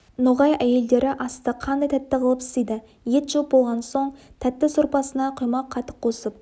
ноғай әйелдері асты қандай тәтті қылып істейді ет жеп болған соң тәтті сорпасына құймақ қатық қосып